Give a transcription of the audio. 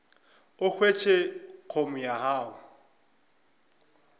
o hwetše com ya gago